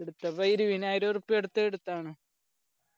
എടുത്തപ്പോ ഇരുപയ്യാനായിരം ഉറുപ്പിയ എടുത്ത് എടുത്താണ്